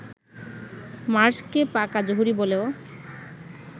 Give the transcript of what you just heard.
মার্শকে পাকা জহুরি বলেও